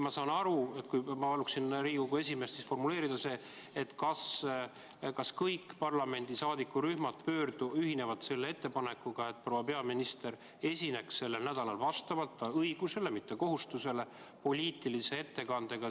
Ma palun Riigikogu esimehel formuleerida ettepanek – kui ikka kõik parlamendi saadikurühmad ühinevad sellega –, et proua peaminister esineks sellel nädalal poliitilise ettekandega koroonaviirusest põhjustatud olukorrast riigis.